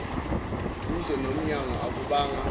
duze nomyango akubanga